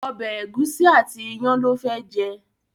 ọbẹ egusi àti iyán ló fé jẹ.